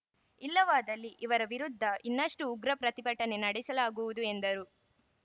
ಇಲ್ಲವಾದಲ್ಲಿ ಇವರ ವಿರುದ್ಧ ಇನ್ನಷ್ಟುಉಗ್ರ ಪ್ರತಿಭಟನೆ ನಡೆಸಲಾಗುವುದು ಎಂದರು